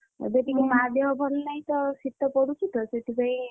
ହୁଁ ଏବେ ଟିକେ ମାଆ ଦେହ ଭଲ ନାହିଁ ତ ଶୀତ ପଡୁଛି ତ ସେଥିପାଇଁ,